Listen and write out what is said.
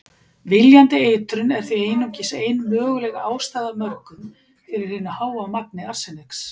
Viljandi eitrun er því einungis ein möguleg ástæða af mörgum fyrir hinu háa magni arseniks.